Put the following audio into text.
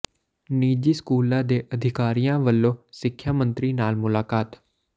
ਨਿੱਜੀ ਸਕੂਲਾਂ ਦੇ ਅਧਿਕਾਰੀਆਂ ਵੱਲੋਂ ਸਿੱਖਿਆ ਮੰਤਰੀ ਨਾਲ ਮੁਲਾਕਾਤ